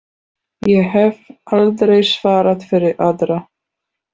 Ég hef aldrei svarað fyrir aðra.